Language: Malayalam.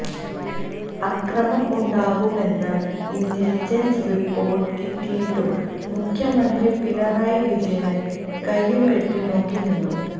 അക്രമം ഉണ്ടാകുമെന്ന ഇന്റലിജന്സ് റിപ്പോര്ട്ട് കിട്ടിയിട്ടും മുഖ്യമന്ത്രി പിണറായി വിജയന് കയ്യുംകെട്ടി നോക്കിനിന്നു